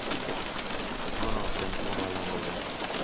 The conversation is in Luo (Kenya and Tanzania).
tuono ok en tuo ma landore